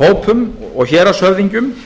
hópum og héraðshöfðingjum